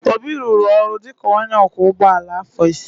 Obi rụrụ ọrụ dị ka onye ọkwọ ụgbọala afọ isii.